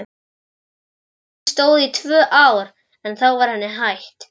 Tilraunin stóð í tvö ár en þá var henni hætt.